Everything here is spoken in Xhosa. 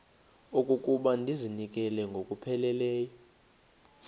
okokuba ndizinikele ngokupheleleyo